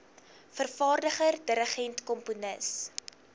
vervaardiger dirigent komponis